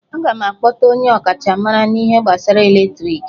Aga m akpọta onye ọkachamara n'ihe gbasara eletriki